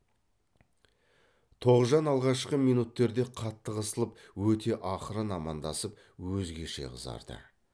тоғжан алғашқы минуттерде қатты қысылып өте ақырын амандасып өзгеше қызарды